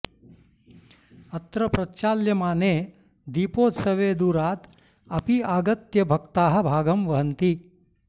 अत्र प्रचाल्यमाने दीपोत्सवे दूराद् अपि आगत्य भक्ताः भागं वहन्ति